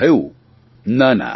તેમણે થયું ના